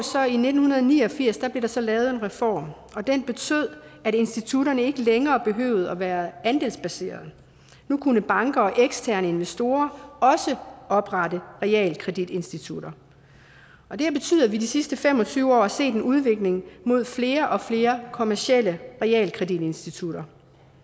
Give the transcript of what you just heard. i nitten ni og firs lavet en reform og den betød at institutterne ikke længere behøvede at være andelsbaserede nu kunne banker og eksterne investorer også oprette realkreditinstitutter og det har betydet at vi de sidste fem og tyve år har set en udvikling mod flere og flere kommercielle realkreditinstitutter